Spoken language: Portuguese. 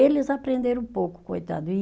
Eles aprenderam pouco, coitado, e